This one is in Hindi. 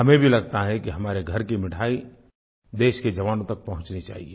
हमें भी लगता है कि हमारे घर की मिठाई देश के जवानों तक पहुंचनी चाहिए